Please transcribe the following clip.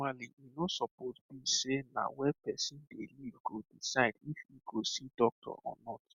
normally e no suppose be sey na where person dey live go decide if e go see doctor or not